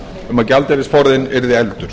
um að gjaldeyrisforðinn yrði efldur